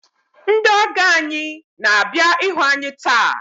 Ndị ọgọ anyị na-abịa ịhụ anyị taa.